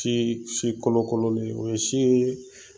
Tii si kolokololen ye. O ye si ye